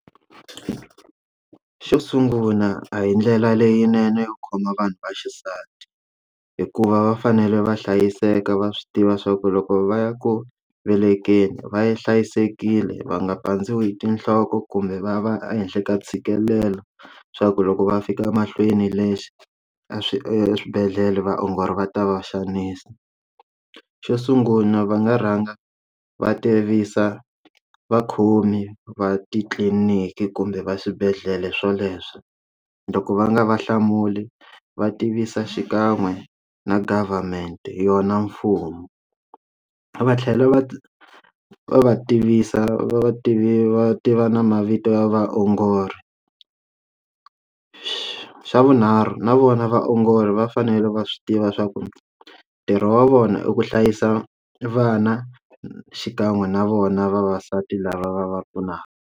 Xo sungula a hi ndlela leyinene yo khoma vanhu va xisati hikuva va fanele va hlayiseka va swi tiva swa ku loko va ya ku velekeni va yi hlayisekile va nga pandziwa hi tinhloko kumbe va va ehenhla ka ntshikelelo swa ku loko va fika emahlweni lexi a swi eswibedhlele vaongori va ta va xanisa. Xo sungula va nga rhanga va tivisa vakhomi va titliliniki kumbe va swibedhlele swoleswo loko va nga va hlamuli va tivisa xikan'we na government yona mfumo, va tlhela va va va tivisa vativi va tiva na mavito ya vaongori, swa xa vunharhu na vona vaongori va fanele va swi tiva swa ku ntirho wa vona i ku hlayisa vana xikan'we na vona vavasati lava va va pfunaka.